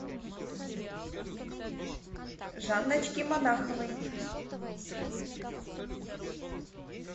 жанночки монаховой